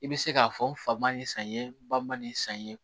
I bɛ se k'a fɔ n fa ma nin san ye ba man nin san ye